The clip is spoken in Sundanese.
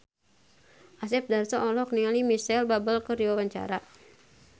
Asep Darso olohok ningali Micheal Bubble keur diwawancara